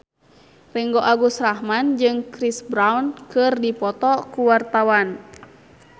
Ringgo Agus Rahman jeung Chris Brown keur dipoto ku wartawan